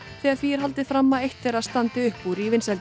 þegar því er haldið fram að eitt þeirra standi upp úr í vinsældum